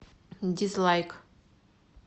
дизлайк